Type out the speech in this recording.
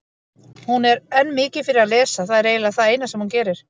Hún er enn mikið fyrir að lesa, það er eiginlega það eina sem hún gerir.